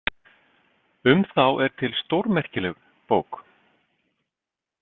Um þá er til stórmerkileg bók.